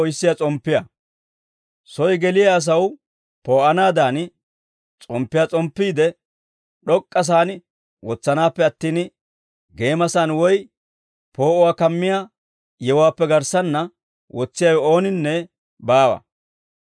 «Soy geliyaa asaw poo'anaadan, S'omppiyaa s'omppiide d'ok'k'asaan wotsanaappe attin, geemasaan woy poo'uwaa kammiyaa yewuwaappe garssanna wotsiyaawe ooninne baawa.